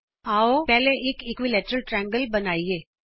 ਆਉ ਪਹਿਲਾਂ ਇਕ ਸਮਭੁਜ ਤ੍ਰਿਕੋਣ ਬਣਾਈਏ